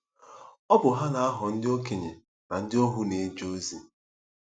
Ọ bụ ha na-aghọ ndị okenye na ndị ohu na-eje ozi.